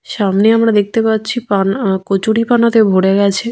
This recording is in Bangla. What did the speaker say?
সামনে আমরা দেখতে পাচ্ছি পানা আহ কচুরি পানাতে ভরে গেছে।